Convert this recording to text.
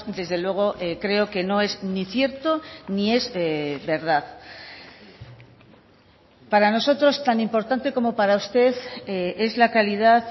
desde luego creo que no es ni cierto ni es verdad para nosotros tan importante como para usted es la calidad